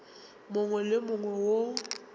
mongwe le wo mongwe wo